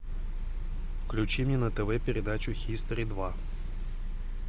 включи мне на тв передачу хистори два